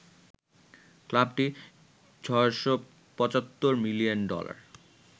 ক্লাবটি ৬৭৫ million dollar